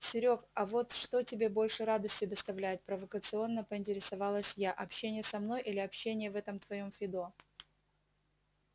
серёг а вот что тебе больше радости доставляет провокационно поинтересовалась я общение со мной или общение в этом твоём фидо